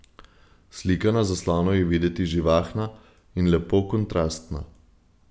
Slika na zaslonu je videti živahna in lepo kontrastna.